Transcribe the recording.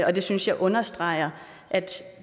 og det synes jeg understreger at